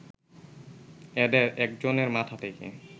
এদের একজনের মাথা থেকে